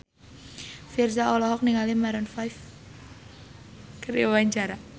Virzha olohok ningali Maroon 5 keur diwawancara